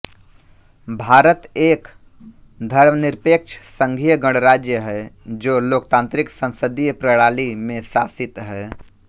भारत एक धर्मनिरपेक्ष संघीय गणराज्य है जो लोकतांत्रिक संसदीय प्रणाली में शासित है